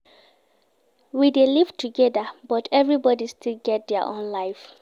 We dey live togeda but everybodi still get their own life.